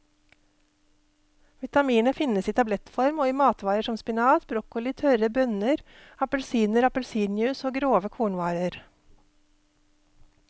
Vitaminet finnes i tablettform og i matvarer som spinat, broccoli, tørre bønner, appelsiner, appelsinjuice og grove kornvarer.